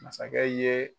Masakɛ ye